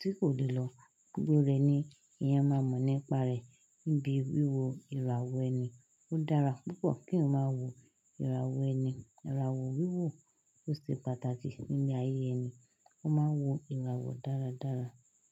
tí kò lè lọ. Gbogbo rẹ̀ ni ìyẹn máa mọ̀ nípa rẹ̀. Níbi wíwo ìràwọ̀ ẹni ó dára púpọ̀ kí wọ́n máa wo ìràwọ̀ ẹni. Ìràwọ̀ wíwò ó ṣe pàtàkì nílé ayé ẹni. Wọ́n máa ń wo ìràwọ̀ dáradára.